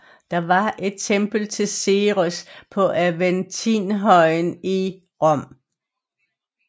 Der var et tempel til Ceres på Aventinhøjen i Rom